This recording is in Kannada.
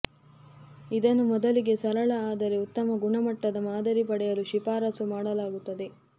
ಇದನ್ನು ಮೊದಲಿಗೆ ಸರಳ ಆದರೆ ಉತ್ತಮ ಗುಣಮಟ್ಟದ ಮಾದರಿ ಪಡೆಯಲು ಶಿಫಾರಸು ಮಾಡಲಾಗುತ್ತದೆ